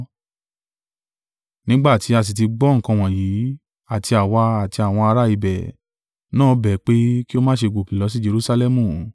Nígbà tí a sì tí gbọ́ nǹkan wọ̀nyí, àti àwa, àti àwọn ará ibẹ̀ náà bẹ̀ ẹ́ pé, kí ó má ṣe gòkè lọ sí Jerusalẹmu.